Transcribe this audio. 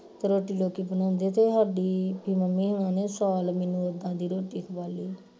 ਰੋਟੀ ਲੋਕੀ ਬਣਾਉਂਦੇ ਤੇ ਹਾਡੀ ਮੰਮੀ ਹੋਣਾ ਨੇ ਸਾਲ ਮੈਨੂੰ ਇੱਦਾਂ ਦੀ ਰੋਟੀ ਖਵਾਈ